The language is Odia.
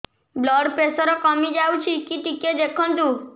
ବ୍ଲଡ଼ ପ୍ରେସର କମି ଯାଉଛି କି ଟିକେ ଦେଖନ୍ତୁ